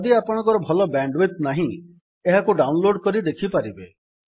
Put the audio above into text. ଯଦି ଆପଣଙ୍କର ଭଲ ବ୍ୟାଣ୍ଡ୍ ୱିଡଥ୍ ନାହିଁ ଏହାକୁ ଡାଉନ୍ ଲୋଡ୍ କରି ଦେଖିପାରିବେ